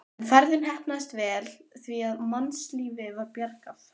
En ferðin heppnaðist vel því að mannslífi var bjargað.